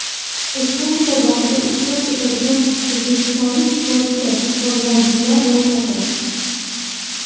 Ushbu musobaqada ishtirok etadigan o‘zbekistonlik sportchi va murabbiylar ro‘yxati: !